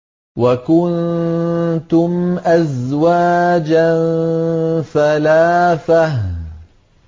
وَكُنتُمْ أَزْوَاجًا ثَلَاثَةً